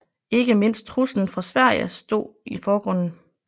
Ikke mindst truslen fra Sverige stod i forgrunden